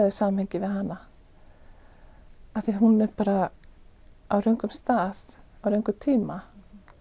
í samhengi við hana því að hún er bara á röngum stað á röngum tíma